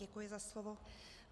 Děkuji za slovo.